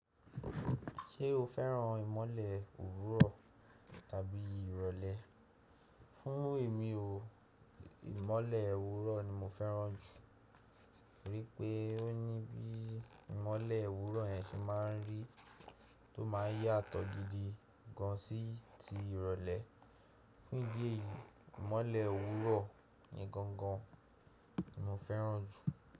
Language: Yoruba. Ṣé o féràn ìmọ́lẹ̀ òwúrọ̀ tàbí ìrọ̀lẹ́? Fún èmi ò ìmọ́lẹ̀ òwúrọ̀ ni mo féràn jù, torí pé ó ní bí ìmọ́lẹ̀ òwúrọ̀ yẹn se máa ń rí tó máa ń yàtọ̀ gidi gan sí ti ìrọ̀lẹ́. Fún idi èyí, ìmọ́lẹ̀ òwúrọ̀ ni gangan mo féràn jù.